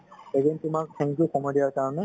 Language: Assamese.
এদিন তুমাক, thank you সময় দিয়াৰ কাৰণে